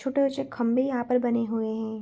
छोटे ऊंचे खंम्बे यहां पर बने हुए हैं।